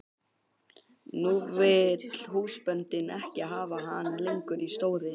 Nú vill húsbóndinn ekki hafa hann lengur í stóði.